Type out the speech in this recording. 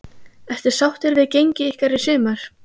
Ertu sáttur við gengi ykkar í sumar?